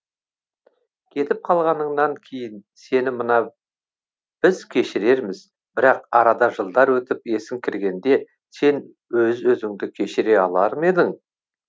кетіп қалғаныңнан кейін сені мына біз кешірерміз бірақ арада жылдар өтіп есің кіргенде сен өз өзіңді кешіре алар ма едің